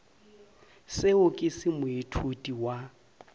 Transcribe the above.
seo ke se moithuti wa